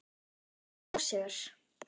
Versti ósigur?